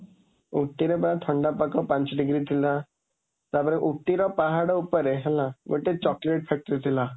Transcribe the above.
ଉଟ୍ଟିରେ ପା ଥଣ୍ଡା ପାଗ, ପାଞ୍ଚ ଡିଗ୍ରୀ ଥିଲା। ତା ପରେ ଉଟ୍ଟିର ପାହାଡ଼ ଉପରେ ହେଲା ଗୋଟେ ଚକଲେଟ factory ଥିଲା।